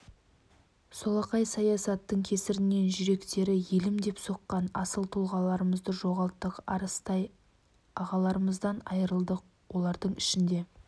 солақай саясаттың кесірінен жүректері елім деп соққан асыл тұлғаларымызды жоғалттық арыстай ағаларымыздан айырылдық олардың ішінде